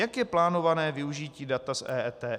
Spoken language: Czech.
Jak je plánované využití data z EET?